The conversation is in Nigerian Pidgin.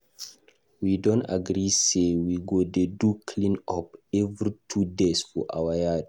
We don agree say we go dey do clean up every two days for our yard.